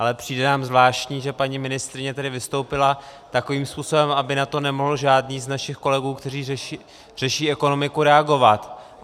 Ale přijde nám zvláštní, že paní ministryně tedy vystoupila takovým způsobem, aby na to nemohl žádný z našich kolegů, kteří řeší ekonomiku, reagovat.